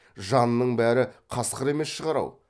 жанның бәрі қасқыр емес шығар ау